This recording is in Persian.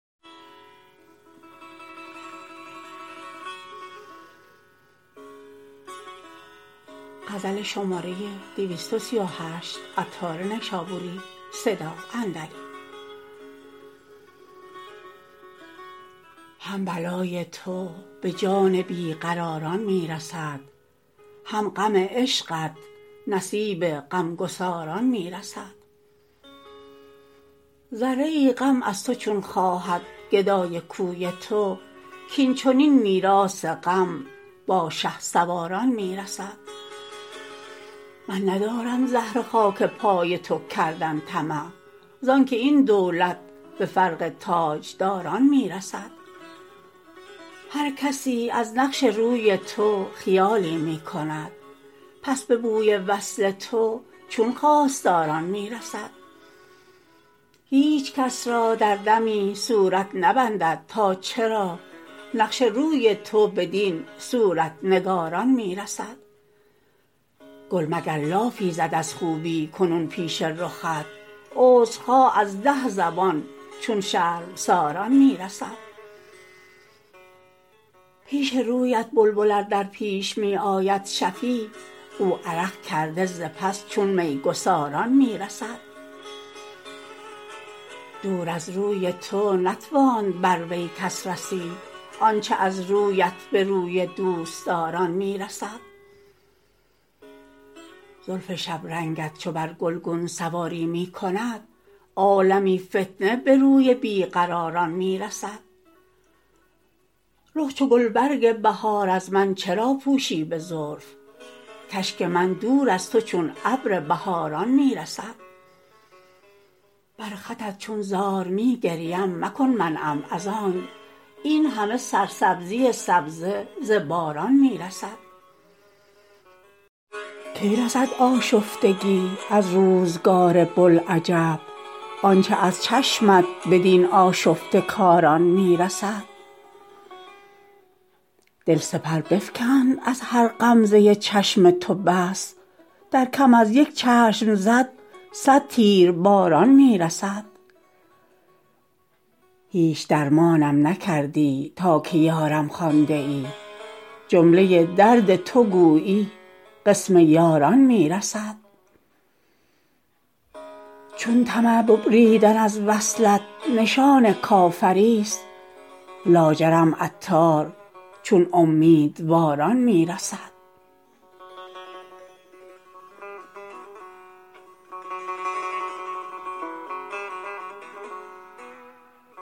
هم بلای تو به جان بی قراران می رسد هم غم عشقت نصیب غمگساران می رسد ذره ای غم از تو چون خواهد گدای کوی تو کین چنین میراث غم با شهسواران می رسد من ندارم زهره خاک پای تو کردن طمع زانکه این دولت به فرق تاجداران می رسد هر کسی از نقش روی تو خیالی می کند پس به بوی وصل تو چون خواستاران می رسد هیچ کس را در دمی صورت نبندد تا چرا نقش روی تو بدین صورت نگاران می رسد گل مگر لافی زد از خوبی کنون پیش رخت عذر خواه از ده زبان چون شرمساران می رسد پیش رویت بلبل ار در پیش می آید شفیع گل عرق کرده ز پس چون میگساران می رسد دور از روی تو نتواند بروی کس رسید آنچه از رویت به روی دوستداران می رسد زلف شبرنگت چو بر گلگون سواری می کند عالمی فتنه به روی بی قراران می رسد رخ چو گلبرگ بهار از من چرا پوشی به زلف کاشک من دور از تو چون ابر بهاران می رسد بر خطت چون زار می گریم مکن منعم ازانک این همه سرسبزی سبزه ز باران می رسد کی رسد آشفتگی از روزگار بوالعجب آنچه از چشمت بدین آشفته کاران می رسد دل سپر بفکند از هر غمزه چشم تو بس در کم از یک چشم زد صد تیرباران می رسد هیچ درمانم نکردی تا که یارم خوانده ای جمله درد تو گویی قسم یاران می رسد چون طمع ببریدن از وصلت نشان کافری است لاجرم عطار چون امیدواران می رسد